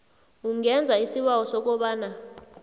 ungenza isibawo sokobana